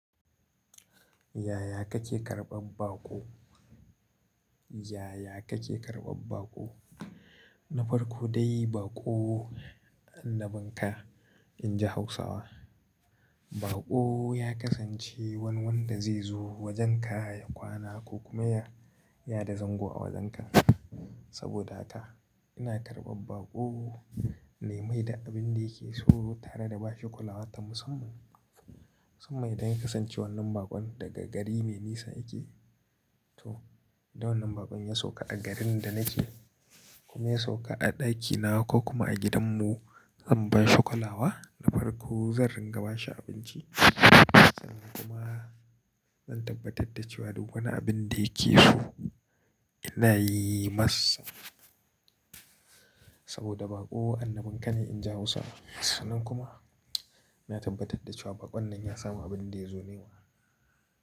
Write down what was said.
Yaya kake karɓar baƙo? Yaya kake karɓar baƙo? Na farko dai baƙo annabin ka inji Hausawa. Baƙo ya kasance wani wanda zai zo wajenka ya kwana ko kuma ya, yada zango a wajenka. Saboda haka ina karɓar baƙo na yi mai da abin da yake so tare da bashi kolawa ta musamman. Musamman idan kasancewa wannan baƙo daga gari mai nisa yake to, da wannan baƙon ya sauka a garin da nake kuma ya sauka a ɗakina ko kuma a gidanmu zan bai shi kolawa na farko zan ringa bashi abinci sannan kuma zan tabbatar da cewa duk wani abin da yake so ina yi masa. Saboda baƙo annabin ka ne inji Hausawa. Sannan kuma ina tabbatar da cewa baƙon nan ya samu abin da ya zo nema.